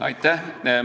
Aitäh!